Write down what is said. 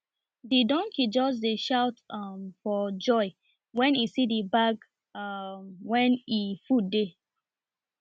the donkey just dey shout um for joy wen e see the bag um wen e food dey